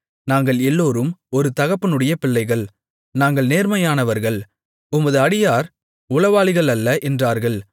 நாங்கள் எல்லோரும் ஒரு தகப்பனுடைய பிள்ளைகள் நாங்கள் நேர்மையானவர்கள் உமது அடியார் உளவாளிகள் அல்ல என்றார்கள்